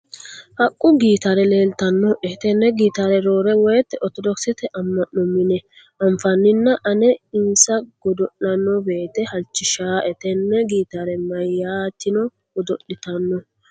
Haqqu gitaare leelitannoe. Tenne gitaare roore woyiite ortodokisete ama'no mine anfanninna ane insa godo'lanno woyiite halchishaae. Tenne gitaare meyaatino godo'litanno.